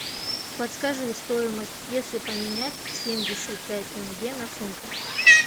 подскажи стоимость если поменять семьдесят пять тенге на фунты